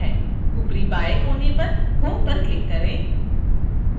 ऊपरी बाएँ कोने पर home पर क्लिक करें